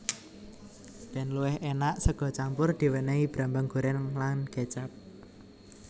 Ben luwih enak sega campur diwenehi brambang goreng lan kecap